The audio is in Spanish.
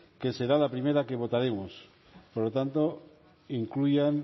que será la primera que votaremos por lo tanto incluyan